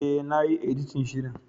E, na yi editin shirin.